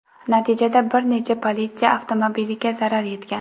Natijada bir necha politsiya avtomobiliga zarar yetgan.